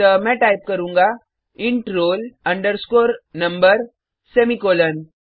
अतः मैं टाइप करूँगा int roll underscore number semicolon